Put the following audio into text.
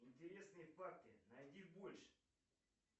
интересные факты найди больше